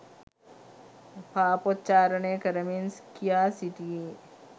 පාපොච්චාරනය කරමින් කියා සිටියේ